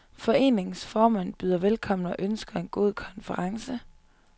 Foreningens formand byder velkommen og ønsker en god konference.